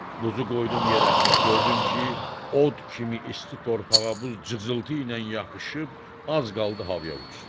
Buzu qoydum yerə, gördüm ki, od kimi isti torpağa buz cızıltı ilə yapışıb az qaldı havaya uçsun.